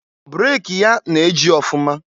Breki ya na-eji ọfụma.